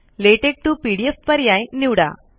LaTeX TO PDF पर्याय निवडा